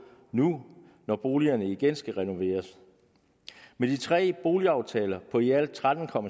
nu når boligerne igen skal renoveres med de tre boligaftaler på i alt tretten